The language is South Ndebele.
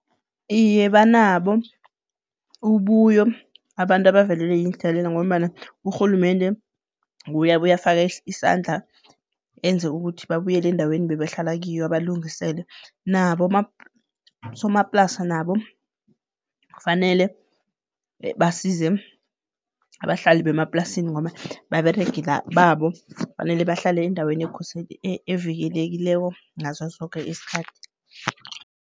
Iye banabo, ububuyo abantu abavelelwe yiinhlekelele ngombana urhulumende nguye abuye afaka isandla enze ukuthi babuyele endaweni bebahlala kiyo abalungisele. Nabo abosomaplasa nabo kufanele basize abahlali bemaplasini ngoba baberegela babo, kufanele bahlale endaweni evikelekileko ngaso soke isikhathi.